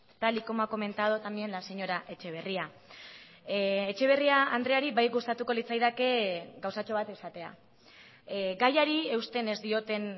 tal y como ha comentado también la señora etxeberria etxeberria andreari bai gustatuko litzaidake gauzatxo bat esatea gaiari eusten ez dioten